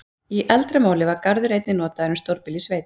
Í eldra máli var garður einnig notað um stórbýli í sveit.